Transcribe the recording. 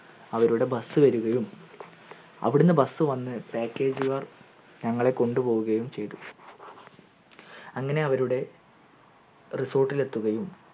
അവരുടെ bus വരികയും അവിടന്ന് bus വന്ന് package കാർ ഞങ്ങളെ കൊണ്ടു പോവുകയും ചെയ്ത അങ്ങനെ അവരുടെ resort ലെത്തുകയും